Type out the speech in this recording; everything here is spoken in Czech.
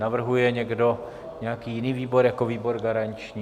Navrhuje někdo nějaký jiný výbor jako výbor garanční?